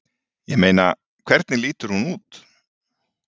Ég meina. hvernig lítur hún út?